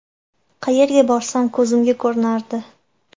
Qayerga borsam ko‘zimga ko‘rinardi.